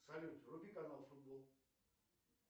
салют вруби канал футбол